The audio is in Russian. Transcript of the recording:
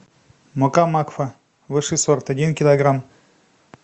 мука макфа высший сорт один килограмм